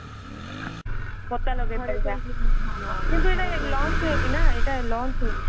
ପତା ଲଗେଇପରିବା ଧରିପାରିବା କିନ୍ତୁ ଏଇଟା launch ହେଇନି ନା launch ହେଇନି